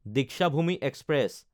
Deekshabhoomi express